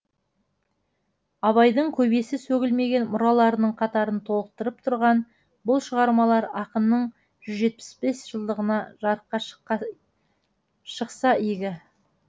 абайдың көбесі сөгілмеген мұраларының қатарын толықтырып тұрған бұл шығармалар ақынның жүз жетпіс бес жылдығында жарыққа шықса игі